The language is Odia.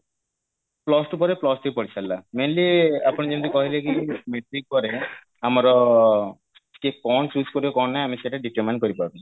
plus two ପରେ plus three ପଢିସାରିଲା mainly ଆପଣ ଯେମିତି କହିଲେ କି metric ପରେ ଆମର କିଏ କଣ choose କରିବ କଣ ନାଇଁ ଆମେ ସେଟା determine କରିପାରୁନେ